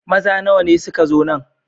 Maza nawa ne suka zo nan?